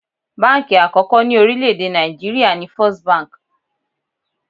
Báǹkì àkọ́kọ́ ni orílẹ̀ èdè Nàìjíríà ni First Bank.